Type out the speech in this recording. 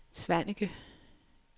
Svaneke